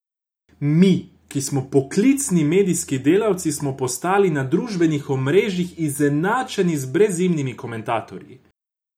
Mi, ki smo poklicni medijski delavci, smo postali na družbenih omrežjih izenačeni z brezimnimi komentatorji.